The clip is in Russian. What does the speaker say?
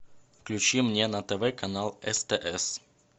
включи мне на тв канал стс